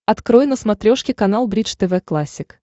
открой на смотрешке канал бридж тв классик